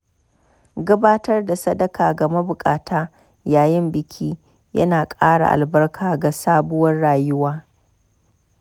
Gabatar da sadaka ga mabukata yayin biki ya na ƙara albarka ga sabuwar rayuwa.